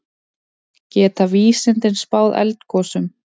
Geta vísindin spáð eldgosum?